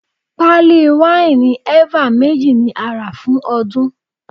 Pali wáìnì eva méjì ni a rà fún ọdún.